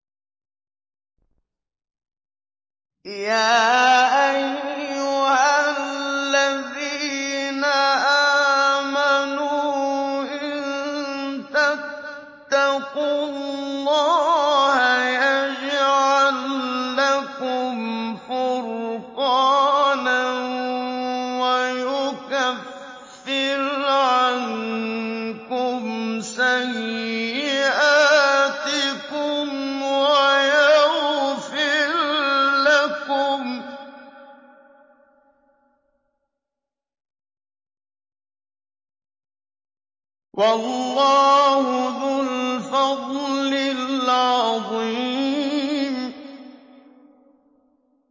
يَا أَيُّهَا الَّذِينَ آمَنُوا إِن تَتَّقُوا اللَّهَ يَجْعَل لَّكُمْ فُرْقَانًا وَيُكَفِّرْ عَنكُمْ سَيِّئَاتِكُمْ وَيَغْفِرْ لَكُمْ ۗ وَاللَّهُ ذُو الْفَضْلِ الْعَظِيمِ